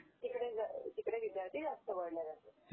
is not Clear